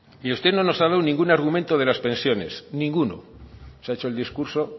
y usted no nos ha dado ningún argumento de las pensiones ninguno se ha hecho el discurso